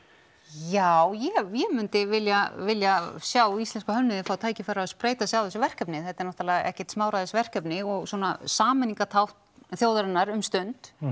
já já ég myndi vilja vilja sjá íslenska hönnuði fá tækifæri á að spreyta sig á þessu verkefni þetta er náttúrulega ekkert smáræðis verkefni og svona sameiningartákn þjóðarinnar um stund